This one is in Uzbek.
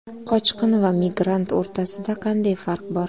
Qochqin va migrant o‘rtasida qanday farq bor?